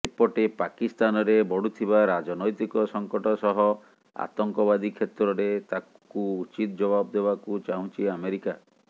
ଏପଟେ ପାକିସ୍ତାନରେ ବଢୁଥିବା ରାଜନୈକ ସଂକଟ ସହ ଆତଙ୍କବାଦୀ କ୍ଷେତ୍ରରେ ତାକୁ ଉଚିତ ଯବାବ ଦେବାକୁ ଚାହୁଁଛି ଆମେରିକା